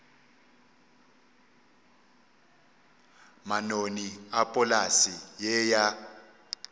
manoni a polase ye ya